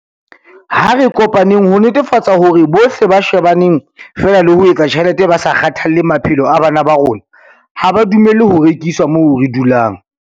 Ha re kopaneng ho netefatsa hore bohle ba shebaneng feela le ho etsa tjhelete ba sa kgathalle maphelo a bana ba rona ha ba dumellwe ho rekisa moo re dulang.